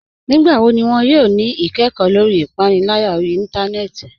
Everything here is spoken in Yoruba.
Nígbàwọ́ ní wọn yóò ní ìkẹ́kọ̀ lórí ìpànìlárà orí ìntánẹnẹ́tì?